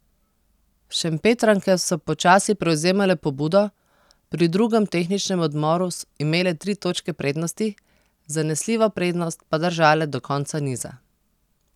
Šempetranke so počasi prevzemale pobudo, pri drugem tehničnem odmoru imele tri točke prednosti, zanesljivo prednost pa držale do konca niza.